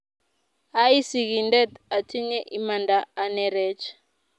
aii sikindet, atinye imaanda anerech